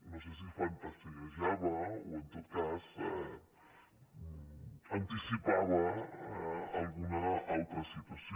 no sé si fantasiejava o en tot cas anticipava alguna altra situació